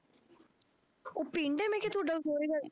ਉਹ ਪਿੰਡ ਹੈ ਮੈਂ ਕਿਹਾ ਤੁਹਾਡਾ ਸਹੁਰੇ ਘਰ